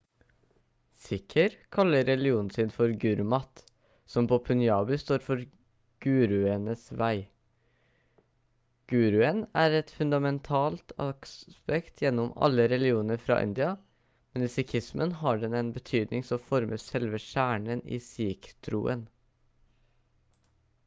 sikher kaller religionen sin for gurmat som på punjabi står for «guruens vei». guruen er et fundamentalt aspekt gjennom alle religioner fra india men i sikhismen har den en betydning som former selve kjernen i sikh-troen